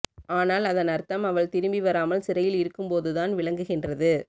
ஆனால் அதன் அர்த்தம் அவள் திரும்பி வராமல் சிறையில் இருக்கும்போதுதான் விளங்குகின்றது